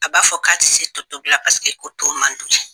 A b'a fɔ k'a ti se totobila paseke ko to man d'u ye